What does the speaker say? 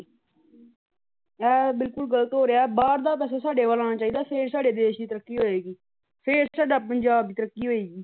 ਅਹ ਬਿੱਲਕੱਲ ਗਲਤ ਹੋ ਰਿਹਾ ਹੈ। ਬਾਹਰ ਤਾ ਪੈਸਾ ਸਾਡੇ ਵੱਲੋ ਹੋਣਾ ਚਾਹੀਦਾ ਹੈ ਫੇਰ ਸਾਡੇ ਦੇਸ਼ ਦੀ ਤਰੱਕੀ ਹੋਵੇਗੀ। ਫੇਰ ਸਾਡਾ ਪੰਜਾਬ ਦੀ ਤਰੱਕੀ ਹੋਵੇਗੀ।